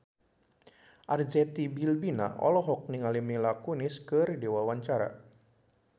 Arzetti Bilbina olohok ningali Mila Kunis keur diwawancara